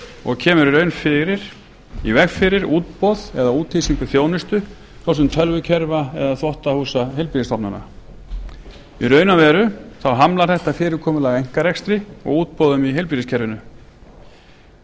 og kemur í raun í veg fyrir útboð eða útvistun þjónustu svo sem tölvukerfa eða þvottahúsa heilbrigðisstofnana í raun og veru þá hamlar þetta fyrirkomulag einkarekstri og útboðum í heilbrigðiskerfinu því spyr